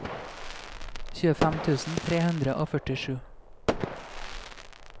tjuefem tusen tre hundre og førtisju